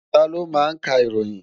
Taló ma ń ka ìròyìn?